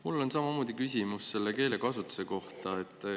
Mul on samamoodi küsimus keelekasutuse kohta.